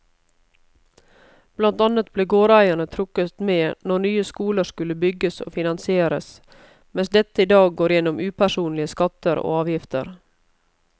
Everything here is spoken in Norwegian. Blant annet ble gårdeierne trukket med når nye skoler skulle bygges og finansieres, mens dette i dag går gjennom upersonlige skatter og avgifter.